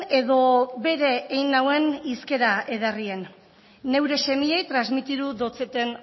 edo bere ein nauen hizkera ederrien neure semiei transmitiru dotzeten